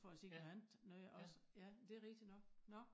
For at se noget andet noget også ja det rigtig nok nå